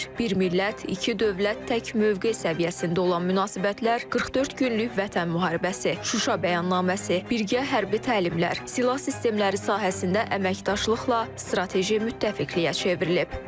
Bir millət, iki dövlət, tək mövqe səviyyəsində olan münasibətlər 44 günlük Vətən müharibəsi, Şuşa bəyannaməsi, birgə hərbi təlimlər, silah sistemləri sahəsində əməkdaşlıqla strateji müttəfiqliyə çevrilib.